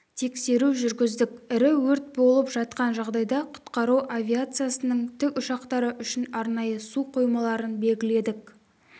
тексеру жүргіздік ірі өрт болып жатқан жағдайда құтқару авиациясының тікұшақтары үшін арнайы су қоймаларын белгіледік